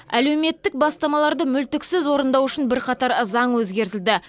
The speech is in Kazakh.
әлеуметтік бастамаларды мүлтіксіз орындау үшін бірқатар заң өзгертілді